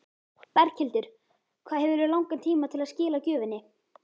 Berghildur: Hvað hefurðu langan tíma til að skila gjöfinni?